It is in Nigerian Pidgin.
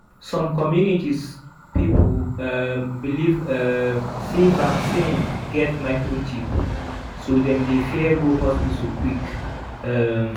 some communities people um believe um sey vaccine get microchip so dem dey fear go hospital quick. um